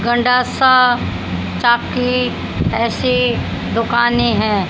गंडासा चाकी ऐसी दुकाने है।